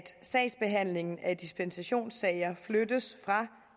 sagsbehandlingen af dispensationssager fra